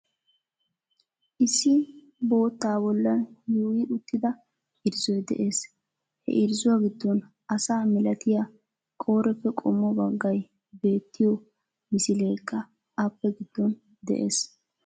Issi bottaa bollan yuyyi uttidaa irzzoy de'ees. He irzzuwa giddon asaa milatiyaa qooreppe qommoo baggay beettiyo misileekka appe giddon de'ees.